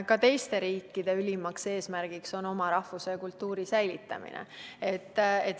Ka teiste riikide ülimaks eesmärgiks on oma rahvuse ja kultuuri säilitamine.